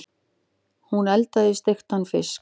Hún eldaði steiktan fisk.